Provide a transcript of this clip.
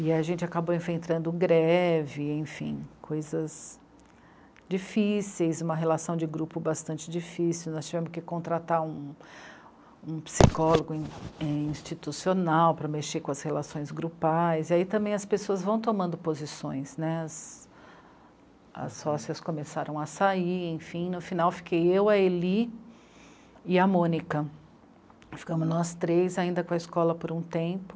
e a gente acabou enfrentando greve, enfim coisas difíceis, uma relação de grupo bastante difícil, nós tivemos que contratar um um psicólogo in é... institucional para mexer com as relações grupais e aí também as pessoas vão tomando posições, né, as... as sócias começaram a sair, enfim no final fiquei eu, a Eli e a Mônica, ficamos nós três ainda com a escola por um tempo